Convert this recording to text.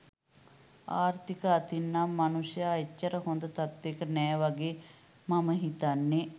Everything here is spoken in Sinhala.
ආර්ථික අතින් නම් මනුස්සයා එච්චර හොඳ තත්වෙක නෑ වගේ මම හිතන්නේ.